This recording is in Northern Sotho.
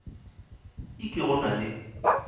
e ke go na le